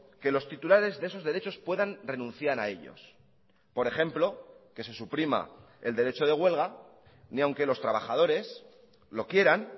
que los titulares de esos derechos puedan renunciar a ellos por ejemplo que se suprima el derecho de huelga ni aunque los trabajadores lo quieran